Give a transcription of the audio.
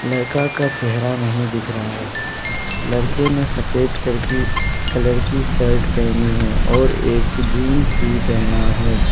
लड़का का चेहरा नहीं दिख रहा है लड़के ने सफेद करके कलर की शर्ट पहनी है और एक जींस भी पहना है।